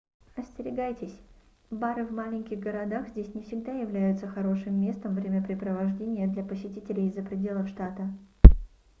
остерегайтесь бары в маленьких городах здесь не всегда являются хорошим местом времяпрепровождения для посетителей из-за пределов штата